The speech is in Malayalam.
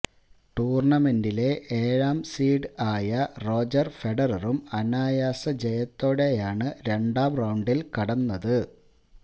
ടൂര്ണമെന്റിലെ ഏഴാം സീഡ് ആയ റോജര് ഫെഡററും അനായാസ ജയത്തോടെയാണ് രണ്ടാം റൌണ്ടില് കടന്നത്